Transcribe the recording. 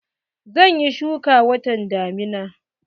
Zan yi shuki watan damina.